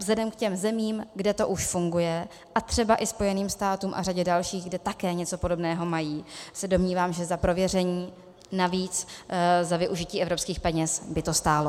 Vzhledem k těm zemím, kde to už funguje, a třeba i Spojených státům a řadě dalších, kde také něco podobného mají, se domnívám, že za prověření, navíc za využití evropských peněz, by to stálo.